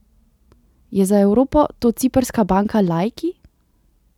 Je za Evropo to ciprska banka Laiki?